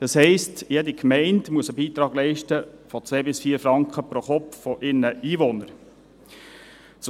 Das heisst, jede Gemeinde muss einen Beitrag von 2–4 Franken pro Kopf von ihren Einwohnern leisten.